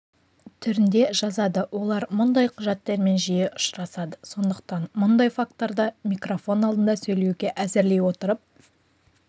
түрінде жазады олар мұндай құжаттармен жиі ұшырасады сондықтан мұндай факторды микрофон алдында сөйлеуге әзірлей отырып